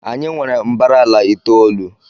anyị nwere mbara ala itoolu